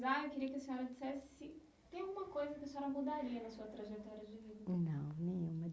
eu queria que a senhora dissesse se tem alguma coisa que a senhora mudaria na sua trajetória de vida. Não nenhuma